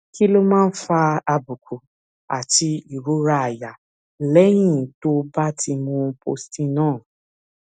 kí ló máa ń fa àbùkù àti ìrora àyà lẹyìn tó o bá ti mu postinor